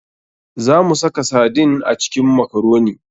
Za mu saka sardine a cikin makaroni.